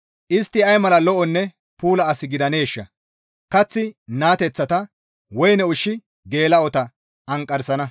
Istti ay mala lo7onne puula as gidaneeshshaa! Kaththi naateththata woyne ushshi geela7ota anqarsana.